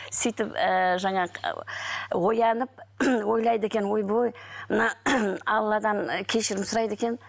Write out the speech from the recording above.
сөйтіп ііі жаңағы оянып ойлайды екен ойбай мына алладан кешірім сұрайды екен